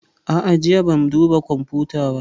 A'a, jiya ban duba kwamfuta ba